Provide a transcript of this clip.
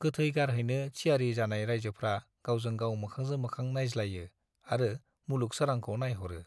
गोथै गारहैनो थियारी जानाय राइजोफ्रा गावजों गाव मोखांजों मोखां नाइज्लायो आरो मुलुग सोरांखौ नाइह'रो ।